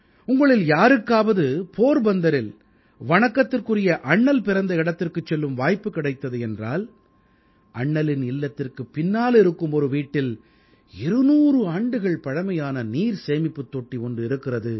உங்களில் யாருக்காவது போர்பந்தரில் வணக்கத்திற்குரிய அண்ணல் பிறந்த இடத்திற்குச் செல்லும் வாய்ப்பு கிடைத்தது என்றால் அண்ணலின் இல்லத்திற்குப் பின்னால் இருக்கும் ஒரு வீட்டில் 200 ஆண்டுகள் பழமையான நீர் சேமிப்புத் தொட்டி ஒன்று இருக்கிறது